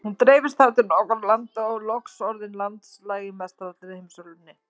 Hún dreifðist þar til nokkurra landa og var loks orðin landlæg í mestallri heimsálfunni.